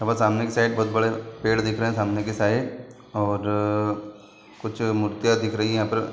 यहाँ पर सामने की साइड बोहोत बड़े पेड़ दिख रहे हैं सामने की साइड और कुछ मूर्तियां दिख रही हैं यहाँ पर।